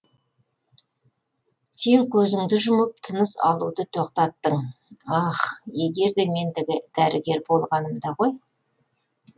сен көзіңді жұмып тыныс алуды тоқтаттың ах егерде мен дәрігер болғанымда ғой